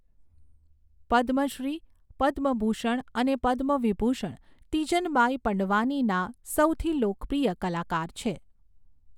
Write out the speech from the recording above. પદ્મશ્રી, પદ્મભૂષણ અને પદ્મવિભૂષણ તીજન બાઈ પંડવાનીના સૌથી લોકપ્રિય કલાકાર છે.